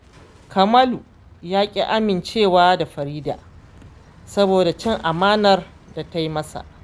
Kamalu ya ƙi amincewa da Farida saboda cin amanar da ta yi masa